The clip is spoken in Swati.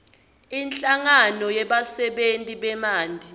inhlangano yebasebentisi bemanti